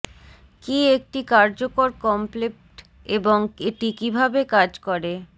কি একটি কার্যকর কমপ্লেপট এবং এটি কিভাবে কাজ করে